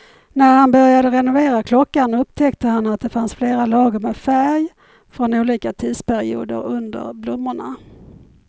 När han började renovera klockan upptäckte han att det fanns flera lager med färg från olika tidsperioder under blommorna.